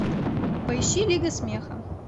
поищи лига смеха